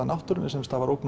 náttúrunni sem stafar ógn